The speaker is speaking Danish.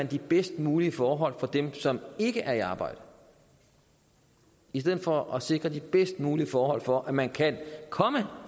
de bedst mulige forhold for dem som ikke er i arbejde i stedet for at sikre de bedst mulige forhold for at man kan komme